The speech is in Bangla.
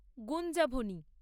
গুঞ্জাভনি